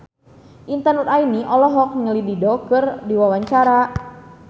Intan Nuraini olohok ningali Dido keur diwawancara